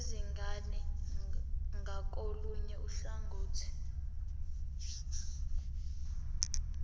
izingane ngakolunye uhlangothi